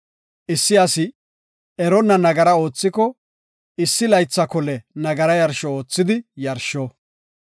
“Issi asi eronna nagara oothiko issi laytha kole nagara yarsho oothidi yarsho.